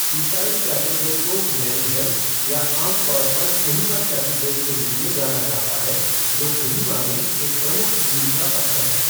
ईसाई कैथेड्रल को Mary Help या आम तौर पर कोहिमा कैथेड्रल के रूप में जाना जाता है, जो कोहिमा में एक प्रमुख मील का पत्थर है।